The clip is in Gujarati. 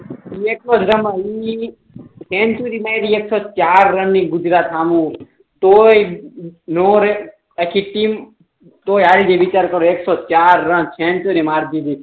સીએસકે મા એકસો ચાર રન ની ગુજરાત હામે તોય નાં રેહ આખી ટીમ તોય હારી ગઈ વિચાર કરો એકસો ચાર રન સેન્ચ્યુરી મારી દીધી